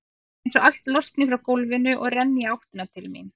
Það er einsog allt losni frá gólfinu og renni í áttina til mín.